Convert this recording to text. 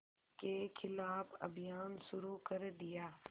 के ख़िलाफ़ अभियान शुरू कर दिया